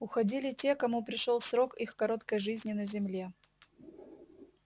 уходили те кому пришёл срок их короткой жизни на земле